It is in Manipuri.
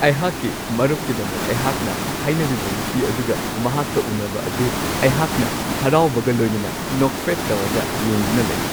ꯑꯩꯍꯥꯛꯀꯤ ꯃꯔꯨꯞꯀꯤꯗꯃꯛ ꯑꯩꯍꯥꯛꯅ ꯍꯥꯏꯅꯕꯤꯕ ꯅꯨꯄꯤ ꯑꯗꯨꯒ ꯃꯍꯥꯛꯀ ꯎꯟꯅꯕ ꯑꯗꯨ ꯑꯩꯍꯥꯛꯅ ꯍꯔꯥꯎꯕꯒ ꯂꯣꯏꯅꯅ ꯅꯣꯛꯐꯦꯠ ꯇꯧꯔꯒ ꯌꯦꯡꯗꯨꯅ ꯂꯩ ꯫